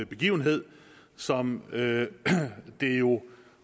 begivenhed som det det jo